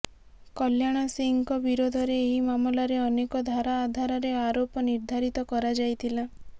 କଲ୍ୟାଣ ସିଂହଙ୍କ ବିରୋଧରେ ଏହି ମାମଲାରେ ଅନେକ ଧାରା ଆଧାରରେ ଆରୋପ ନିର୍ଦ୍ଧାରିତ କରାଯାଇଥିଲା